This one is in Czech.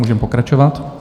Můžeme pokračovat.